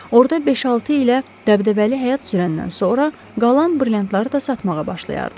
Orda 5-6 ilə dəbdəbəli həyat sürəndən sonra qalan brilliantları da satmağa başlayardı.